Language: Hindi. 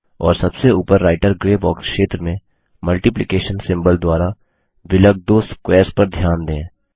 और सबसे ऊपर राइटर ग्रे बॉक्स क्षेत्र में मल्टिप्लिकेशन सिम्बल द्वारा विलग दो स्क्वेर्स पर ध्यान दें